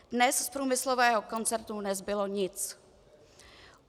Dnes z průmyslového koncernu nezbylo nic.